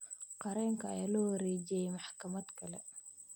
Qareenka ayaa loo wareejiyay maxkamad kale.